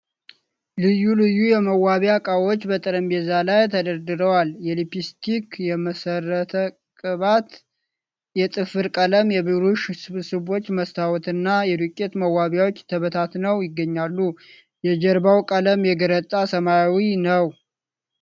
ልዩ ልዩ የመዋቢያ ዕቃዎች በጠረጴዛ ላይ ተደርድረዋል። የሊፕስቲክ፣ የመሠረት ቅባት፣ የጥፍር ቀለም፣ የብሩሽ ስብስቦች፣ መስታወትና የዱቄት መዋቢያዎች ተበታትነው ይገኛሉ። የጀርባው ቀለም የገረጣ ሰማያዊ ነው።